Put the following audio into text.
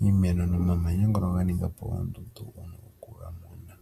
iimeno nomamanya owuna okuga mona.